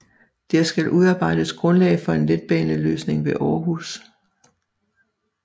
Der skal udarbejdes grundlag for en letbaneløsning ved Århus